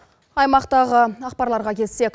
аймақтағы ақпарларға келсек